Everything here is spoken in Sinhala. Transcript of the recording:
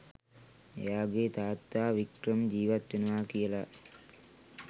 එයාගේ තාත්තා වික්‍රම් ජීවත් වෙනවා කියලා.